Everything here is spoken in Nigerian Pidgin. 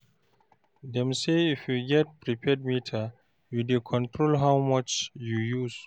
Dem say, if you get prepaid meter, you dey control how much you use.